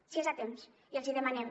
s’hi és a temps i els hi demanem